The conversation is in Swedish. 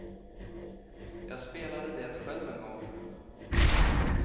Jag spelade det själv en gång.